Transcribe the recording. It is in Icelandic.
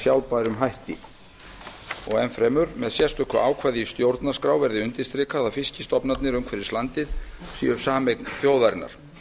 sjálfbærum hætti enn fremur með sérstöku ákvæði í stjórnarskrá verði undirstrikað að fiskstofnarnir umhverfis landið séu sameign þjóðarinnar